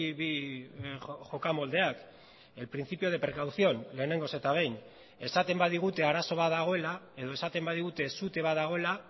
bi jokamoldeak el principio de precaución lehenengoz eta behin esaten badigute arazo bat dagoela edo esaten badigute sute bat dagoela